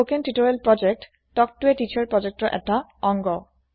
spoken tutorial project তক তো ই তিছাৰৰ এটা ভাগ